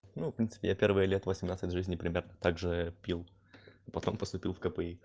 ну в принципе я первые лет восемнадцать жизни примерно также пил потом поступил в кпи